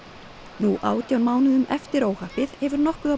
nú átján mánuðum eftir óhappið hefur nokkuð af